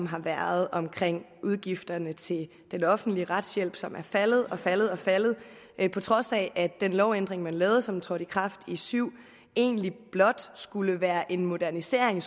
har været om udgifterne til den offentlige retshjælp som er faldet faldet og faldet at på trods af at den lovændring som man lavede og som trådte i kraft i syv egentlig blot skulle være en modernisering